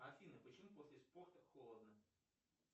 афина почему после спорта холодно